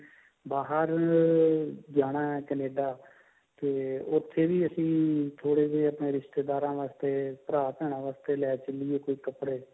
ਬਾਹਰ ਜਾਣਾ ਹੈ Canada ਤੇ ਉੱਥੇ ਵੀ ਅਸੀਂ ਥੋੜੇ ਬਹੁਤ ਰਿਸ਼ਤੇਦਾਰਾ ਵਾਸਤੇ ਭਰਾ ਭੈਣਾ ਵਾਸਤੇ ਲੈ ਚਲਿਏ ਕੋਈ ਕੱਪੜੇ